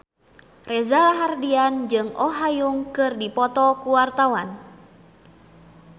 Reza Rahardian jeung Oh Ha Young keur dipoto ku wartawan